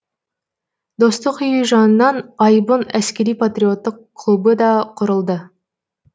достық үйі жанынан айбын әскери патриоттық клубы да құрылады